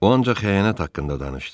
O ancaq xəyanət haqqında danışdı.